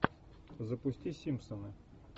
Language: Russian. запусти симпсоны